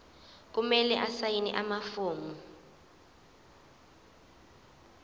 kumele asayine amafomu